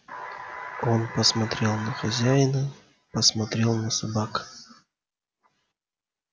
он посмотрел на хозяина посмотрел на собак